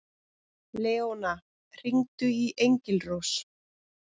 Leóna, hringdu í Engilrós.